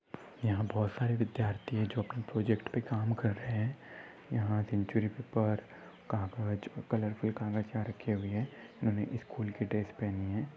यहा बहुत सारे विद्यार्थी है जो अपने प्रोजेक्ट पे काम कर रहे है यहा सेंचुरी पेपर पर कागज और कलरफुल कागज यहाँ रखे हुए है उन्होंने स्कूल की ड्रेस पहनी है।